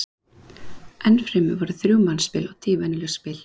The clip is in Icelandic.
enn fremur voru þrjú mannspil og tíu venjuleg spil